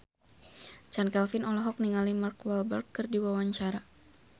Chand Kelvin olohok ningali Mark Walberg keur diwawancara